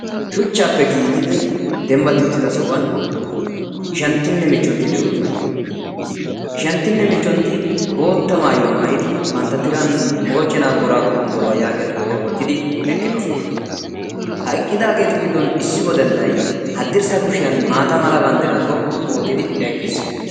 ishshattine michchotti ziiriya medhdhidi bootta shurabiya maayidi bantta kushiyankka bandira oyqqidi eqidossona.